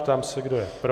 Ptám se, kdo je pro.